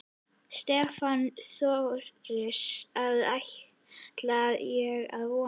Stefán Thors: Það ætla ég að vona?